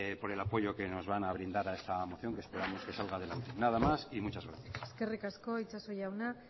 por el apoyo que nos van a brindar a esta moción que esperamos que salga adelante nada más y muchas gracias eskerrik asko itxaso jauna